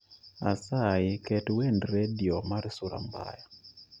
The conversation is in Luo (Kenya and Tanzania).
asayi ket wend redio mar sura mbaya